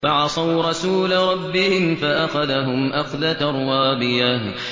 فَعَصَوْا رَسُولَ رَبِّهِمْ فَأَخَذَهُمْ أَخْذَةً رَّابِيَةً